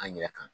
An yɛrɛ kan